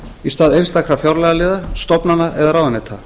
í stað einstakra fjárlagaliða stofnana eða ráðuneyta